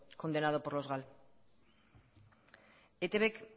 condenado por los gal eitbk